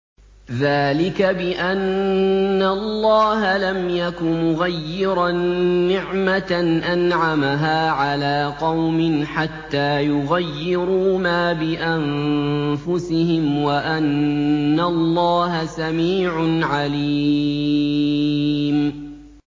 ذَٰلِكَ بِأَنَّ اللَّهَ لَمْ يَكُ مُغَيِّرًا نِّعْمَةً أَنْعَمَهَا عَلَىٰ قَوْمٍ حَتَّىٰ يُغَيِّرُوا مَا بِأَنفُسِهِمْ ۙ وَأَنَّ اللَّهَ سَمِيعٌ عَلِيمٌ